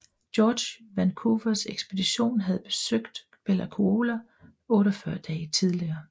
George Vancouvers ekspedition havde besøgt Bella Coola 48 dage tidligere